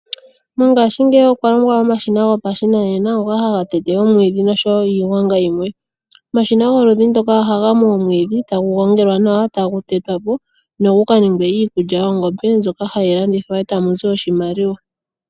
Mongaashingeyi okwa longwa omashina gopashinanena ngoka haga tete omwiidhi noshowo iigwanga yimwe. Omashina goludhi ndoka ohaga mu omwiidhi, tagu gongelwa, tagu tetwa po nogu ka ninge iikulya yoongombe mbyoka hayi landithwa eta mu zi oshimaliwa.